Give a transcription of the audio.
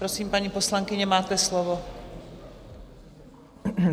Prosím, paní poslankyně, máte slovo.